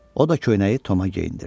O da köynəyi Toma geyindirdi.